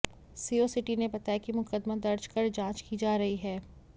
CO city ने बताया कि मुकदमा दर्ज कर जांच की जा रही है